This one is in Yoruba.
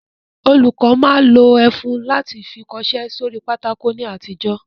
Olùkọ́ máa ń lo ẹfun láti fi kọṣẹ́ sórí pátákó ní àtijọ́